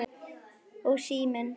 Og síminn.